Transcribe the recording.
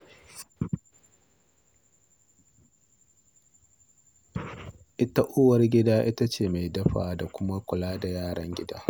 Ita kuwa uwar gida, ita ce mai dafawa da kuma kula da yaran gida.